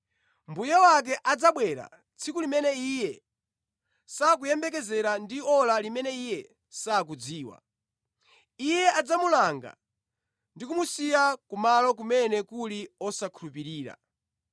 Mbuye wake adzabwera tsiku limene iye sakumuyembekezera ndi ora limene iye sakudziwa. Iye adzamulanga ndi kumusiya kumalo kumene kuli osakhulupirira.